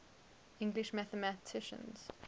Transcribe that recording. english mathematicians